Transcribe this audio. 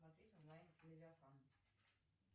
смотреть онлайн левиафан